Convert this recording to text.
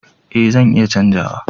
Eh zan iya canza wa.